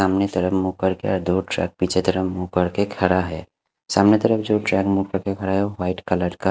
सामने तरफ मुह करके दो ट्रक पीछे तरफ मुह करके खड़ा है सामने तरफ जो ट्रक मुह करके खड़ा है वो वाइट कलर का --